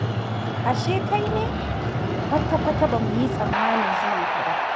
Ashe kai ne! Kwata-kwata ba mu yi tsammanin zuwanka ba.